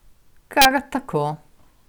Kar tako!